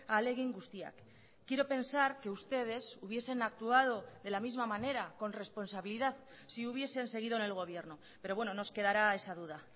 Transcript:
ahalegin guztiak quiero pensar que ustedes hubiesen actuado de la misma manera con responsabilidad si hubiesen seguido en el gobierno pero bueno nos quedará esa duda